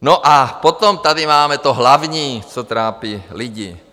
No a potom tady máme to hlavní, co trápí lidi.